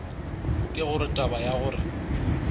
ke gore taba ya gore